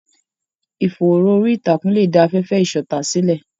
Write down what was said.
Ìfòòró orí ìtàkùn lè dá afẹ́fẹ́ ìṣọ̀tá sílẹ̀.